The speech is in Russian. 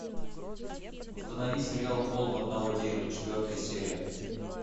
установи сериал холм одного дерева четвертая серия